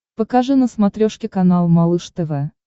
покажи на смотрешке канал малыш тв